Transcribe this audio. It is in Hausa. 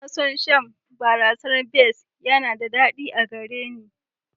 Ina son shan barasar best yana da daɗi a gare ni.